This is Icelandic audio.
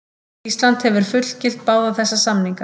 Ísland hefur fullgilt báða þessa samninga.